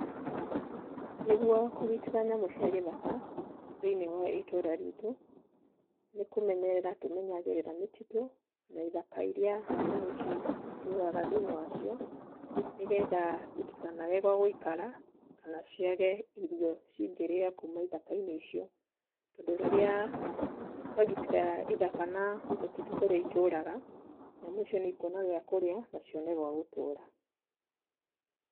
Nĩguo kũgitĩra nyamũ cia gĩthaka thiĩniĩ wa itũũra ritũ, nĩkũmenyerera tũmenyagĩrĩra mĩtitũ na ĩthaka irĩa nyamũ ici citũraga thiĩniĩ wacio nĩgetha itikanage gwagũikara kana ciage irio cingĩrĩa kuma ithaka-inĩ icio, tondũ rĩrĩa twagitĩra ithaka na mĩtitũ kũrĩa itũraga, nyamũ icio nĩ ikuona gĩakũrĩa na cione gwagũtũra.